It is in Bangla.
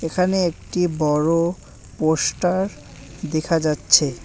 এখানে একটি বড়ো পোস্টার দেখা যাচ্ছে।